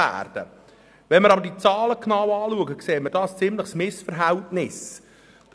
Bei genauer Betrachtung der Zahlen, kann ein ziemliches Missverhältnis festgestellt werden.